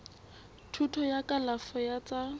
thuto ya kalafo ya tsa